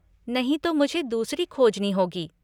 नहीं तो मुझे दूसरी खोजनी होगी।